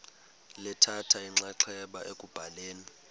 lithatha inxaxheba ekubhaleni